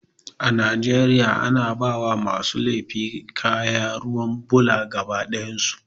A Najeriya ana bawa masu laifi kaya ruwan bula gaba ɗayan su